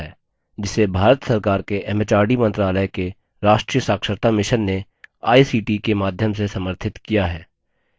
जिसे भारत सरकार के एमएचआरडी मंत्रालय के राष्ट्रीय साक्षरता mission ने आई सी टी ict के माध्यम से समर्थित किया है